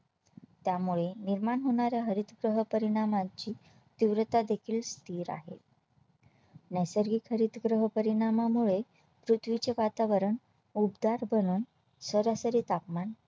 त्यामुळे निर्माण होणारा हरितगृह परिणामाची तीव्रता देखील स्थिर आहे नैसर्गिक हरितगृह परिणामामुळे पृथ्वीचे वातावरण उबदार बनून सरासरी तापमान